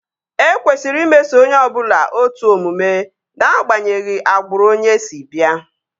E kwesịrị imeso onye ọbụla otu omume ná-agbanyeghi agbụrụ onye si bịa